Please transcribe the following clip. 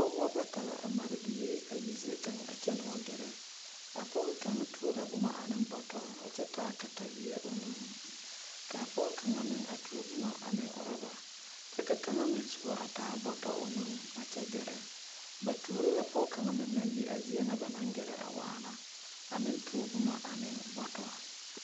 Pɔgbɔ bata la a mare ba biiri a yi zie a kyɛnɛ wa gɛrɛ a pɔge kaŋ tuo la boma ane bɔtɔ kyɛ taa kataweɛ o nuŋ kaa pɔge kaŋ meŋ a tuo boma ane ɔrɔba kyɛ ka kaŋ meŋ soba a taa bɔtɔ o nuŋ a kyɛ gɛrɛ ba tuoro la pɔge kaŋa meŋ naŋ yi a zie na ba naŋ gɛrɛ a waana a meŋ tuo boma aneŋ bɔtɔ.